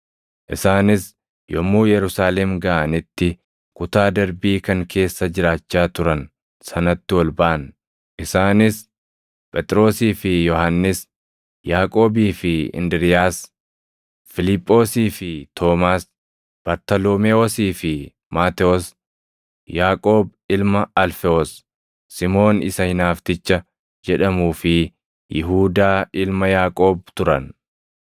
Isaanis yommuu Yerusaalem gaʼanitti kutaa darbii kan keessa jiraachaa turan sanatti ol baʼan; isaanis: Phexrosii fi Yohannis, Yaaqoobii fi Indiriiyaas, Fiiliphoosii fi Toomaas, Bartaloomewoosii fi Maatewos, Yaaqoob ilma Alfewoos, Simoon isa Hinaafticha jedhamuu fi Yihuudaa ilma Yaaqoob turan.